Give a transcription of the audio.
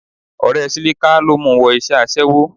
Ọ̀rẹ́ Sílíká ló mu wọ iṣẹ́ aṣẹ́wó